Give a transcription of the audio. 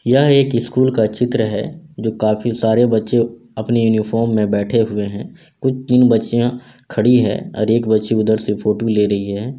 यह एक स्कूल का चित्र है जो काफी सारे बच्चे अपनी यूनिफ़ोर्म में बेठे हुए हैं कुछ तीन बच्चियाँ खड़ी है और एक बच्ची उधर से फोटो ले रही है।